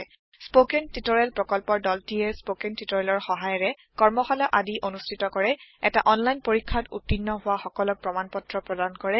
spoken tutorial প্ৰকল্পৰ দলটিয়ে spoken টিওটৰিয়েলৰ সহায়েৰে কৰ্মশালা আদি অনুষ্ঠিত কৰে এটা অনলাইন পৰীক্ষাত উত্তীৰ্ণ হোৱা সকলক প্ৰমাণ পত্ৰ প্ৰদান কৰে